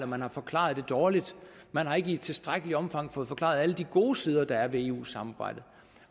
man har forklaret det dårligt man har ikke i tilstrækkeligt omfang fået forklaret alle de gode sider der er ved eu samarbejdet